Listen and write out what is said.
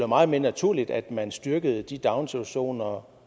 meget naturligt at man styrkede de daginstitutioner